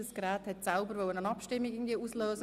Das System hat von selbst eine Abstimmung ausgelöst.